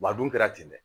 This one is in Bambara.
Wa a dun kɛra ten dɛ